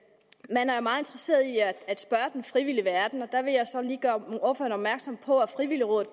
man er jo meget interesseret i at spørge den frivillige verden og der vil jeg så lige gøre ordføreren opmærksom på at frivilligrådet